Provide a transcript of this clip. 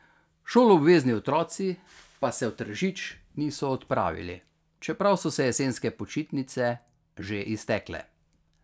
Šoloobvezni otroci pa se v Tržič niso odpravili, čeprav so se jesenske počitnice že iztekle.